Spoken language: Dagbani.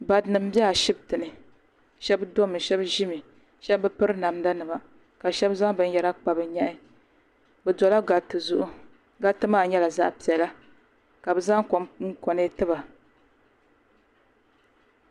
Barinima m be ashiptini sheba domi sheba ʒimi sheba bi piri namda nima ka sheba zaŋ binyera kpa bɛ nyɛhi bɛ dola gariti zuɣu gariti ma nyɛla zaɣa piɛlla ka bɛ zaŋ kom konetiba.